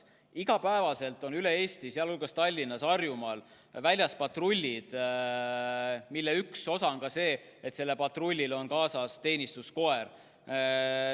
Iga päev on üle Eesti, sealhulgas Tallinnas ja mujal Harjumaal väljas patrullid, kellel on tihti kaasas ka teenistuskoer.